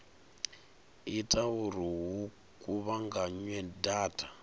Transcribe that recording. ita uri hu kuvhunganywe data